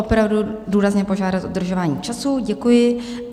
Opravdu důrazně požádám o dodržování času, děkuji.